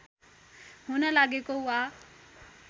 हुन लागेको वा